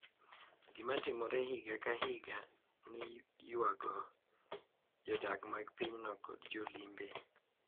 Gima timore higa ka higa ni ywayo jodak mag pinyno kod jolimbe,